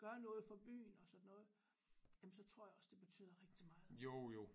Gør noget for byen og sådan noget jamen så tror jeg også det betyder rigtig meget